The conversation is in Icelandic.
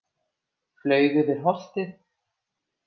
Flaug yfir holtið.